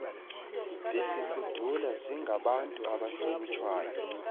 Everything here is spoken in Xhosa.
bezifudula zingabantu abahlonitshwayo